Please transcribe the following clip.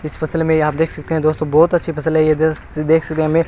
इस फसल में ये आप देख सकते हैं दोस्तों बहुत अच्छी फ़सल है ये देख सकते हमें--